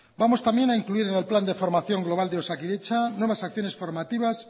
vamos también a incluir en el plan de formación global de osakidetza nuevas acciones formativas